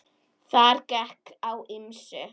Þar gekk á ýmsu.